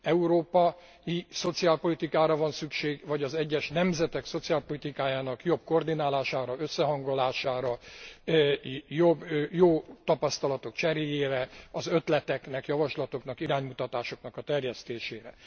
Európai szociálpolitikára van szükség vagy az egyes nemzetek szociálpolitikájának jobb koordinálására, összehangolására, jó tapasztalatok cseréjére, az ötleteknek, javaslatoknak, iránymutatásoknak a terjesztésére?